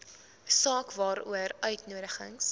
saak waaroor uitnodigings